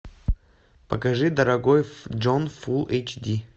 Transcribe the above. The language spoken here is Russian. покажи дорогой джон фул эйч ди